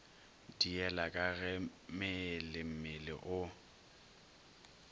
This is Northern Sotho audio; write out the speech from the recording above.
diela ka ge meelemmele o